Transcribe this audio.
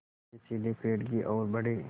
वे सीधे पेड़ की ओर बढ़े